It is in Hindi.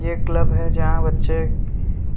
ये क्लब है जहाँ बच्चे